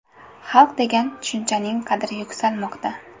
Xalq degan tushunchaning qadri yuksalmoqda.